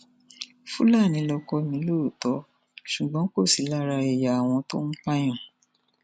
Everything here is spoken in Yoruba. fúlàní lọkọ mi lóòótọ ṣùgbọn kò sí lára ẹyà àwọn tó ń pààyàn